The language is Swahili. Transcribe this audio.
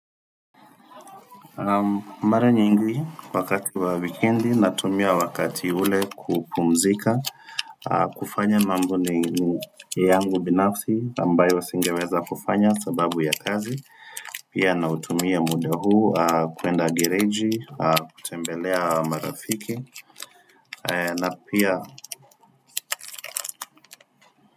Mara nyingi wakati wa wekendi natumia wakati ule kupumzika kufanya mambo ni yangu binafsi ambayo singeweza kufanya sababu ya kazi Pia na utumia muda huu kwenda gereji kutembelea marafiki na pia.